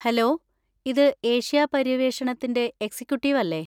Hello! ഇത് Asia പര്യവേഷണത്തിന്‍റെ executive അല്ലെ?